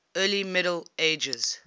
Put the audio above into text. early middle ages